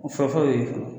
O fɔlɔ ye